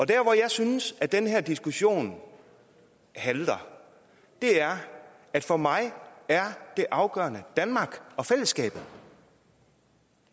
der hvor jeg synes den her diskussion halter er at for mig er det afgørende danmark og fællesskabet